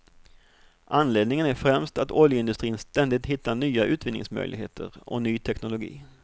Anledningen är främst att oljeindustrin ständigt hittar nya utvinningsmöjligheter och ny teknologi.